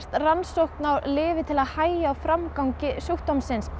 rannsókn á lyfi til að hægja á framgangi sjúkdómsins